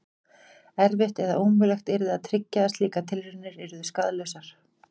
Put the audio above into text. Erfitt eða ómögulegt yrði að tryggja að slíkar tilraunir yrðu skaðlausar.